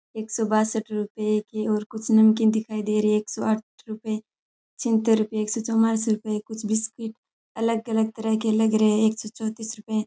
एक सौ बासठ रुपए की और कुछ नमकीन दिखाई दे रही है एक सौ आठ रुपए छियत्तर रुपए एक सौ चवालीस रुपए कुछ बिस्कुट अलग अलग तरह के लग रहे हैं एक सौ चौंतिस रुपए --